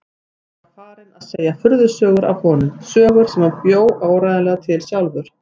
Hann var farinn að segja furðusögur af honum, sögur sem hann bjó áreiðanlega til sjálfur.